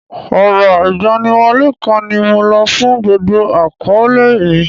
Ọrọ̀ igbaniwole kan ni mo lo fún gbogbo akoole mi.